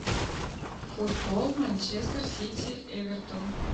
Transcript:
футбол манчестер сити эвертон